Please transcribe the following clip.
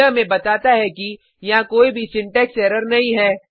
यह हमें बताता है कि यहाँ कोई भी सिंटेक्स एरर नहीं है